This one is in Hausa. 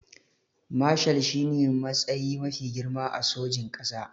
Mashal shine matsayi mafi girma a sojin ƙasa